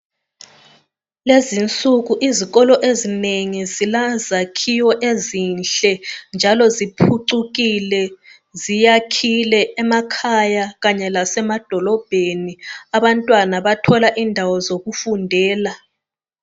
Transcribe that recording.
Lezi nsuku izikolo ezinengi zilezakhiwo ezinhle njalo ziphucukile, ziyakhile emakhaya Kanye lasema dolobheni abantwana bathola indawo zokufundela.